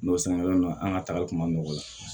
N'o sɛnɛkɛla la an ka tali kun ma nɔgɔ